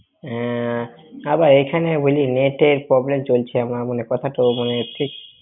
হ্যাঁ। তারপর এখানে বুজলি net এ problem চলছে কথা ।